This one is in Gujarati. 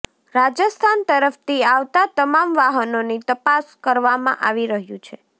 રાજસ્થાન તરફથી આવતા તમામ વાહનોની તપાસ કરવામાં આવી રહ્યું છે